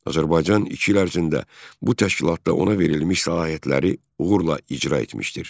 Azərbaycan iki il ərzində bu təşkilatda ona verilmiş səlahiyyətləri uğurla icra etmişdir.